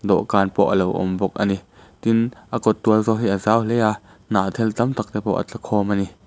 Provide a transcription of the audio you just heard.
dawhkan pawh a lo awm bawk a ni tin a kawt tual pawh hi a zau hle a hnahthel tam tak te pawh a a tla khawm a ni.